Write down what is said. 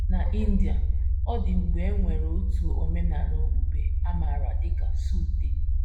N’India, ọ dị mgbe e nwere otu omenala okpukpe a maara dị ka suttee.